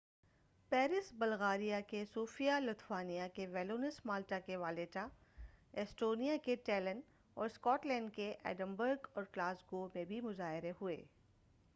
Paris Bulgaria کے Sofia Lithuania کے Vilnius Malta کے والیٹا ایسٹونیا کے ٹیلن اور اسکاٹ لینڈ کے ایڈنبرگ اور گلاسگو میں بھی مظاہرے ہوئے